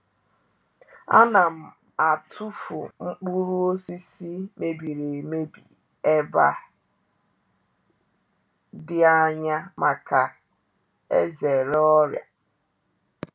A na m atụfụ nkpụrụ osisi mebiri emebi e ba di anya maka e zere ọrịa.